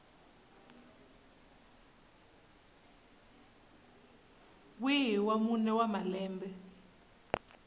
wihi wa mune wa malembe